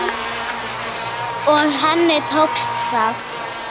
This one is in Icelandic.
Og henni tókst það.